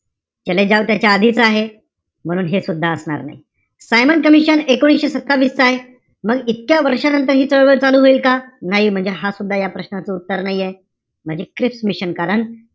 चले जाव त्याच्या आधीच आहे. म्हणून हे सुद्धा असणार नाही. सायमन कमिशन एकोणीशे सत्तावीस च आहे. मग इतक्या वर्षानंतर हि चळवळ चालू होईल का? नाही. म्हणजे हा सुद्धा या प्रश्नाचं उत्तर नाहीये. म्हणजे क्रिप्स मिशन. कारण,